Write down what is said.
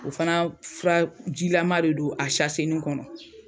O fana furajilama de don, a sasenin kɔnɔ.